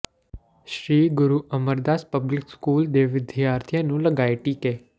ਸ੍ਰੀ Guru Amardas public school ਦੇ ਵਿਦਿਆਰਥੀਆਂ ਨੂੰ ਲਗਾਏ ਟੀਕੇ